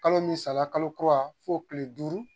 Kalo min sara , kalo kura , o tile duuru